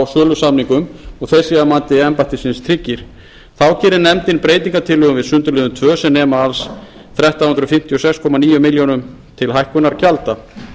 á sölusamningum og að þeir séu að mati embættisins tryggir þá gerir nefndin breytingartillögur við sundurliðun tvö sem nema alls þrettán hundruð fimmtíu og sex komma níu milljónir króna til hækkunar gjalda